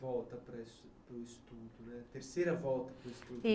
Terceira volta para o estudo